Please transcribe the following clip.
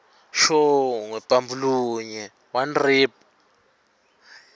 shongwe